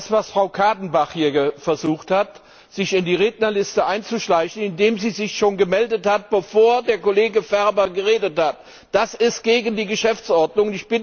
Das, was Frau Kadenbach hier versucht hat, also sich in die Rednerliste einzuschleichen, indem sie sich schon gemeldet hat, bevor der Kollege Ferber geredet hat, das ist gegen die Geschäftsordnung!